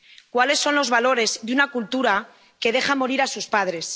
¿Cuáles son los valores de una cultura que deja morir a sus padres?